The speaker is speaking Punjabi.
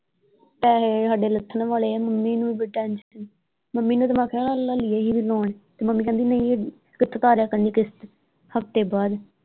ਪੈਹੇ ਹਾਡੇ ਲੱਥਣ ਵਾਲੇ ਆ ਮੰਮੀ ਨੂੰ ਬੜੀ ਟੈਨਸ਼ਨ ਮੰਮੀ ਨੂੰ ਮੈਂ ਕਿਹਾ ਤੇ ਮੰਮੀ ਕਹਿੰਦੇ ਨਹੀਂ ਭੁਗਤਾ ਦਿਆ ਕਰਨੀ ਕਿਸ਼ਤ ਹਫਤੇ ਬਾਅਦ।